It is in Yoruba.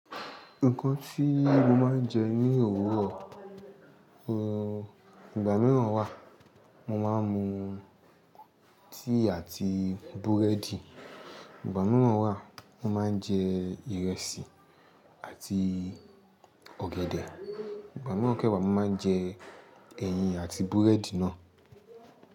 Nǹkan tí mo máa ń jẹ ní òwúrọ̀, ehn, ìgbà mìíràn wà mo máa ń mu tíì àti búrẹ́dì, ìgbà mìíràn wà mo máa ń jẹ ìrẹsì àti ọ̀gẹ̀dẹ̀, ìgbà mìíràn kẹ́wàá mo máa ń jẹ ẹyin àti búrẹ́dì náà.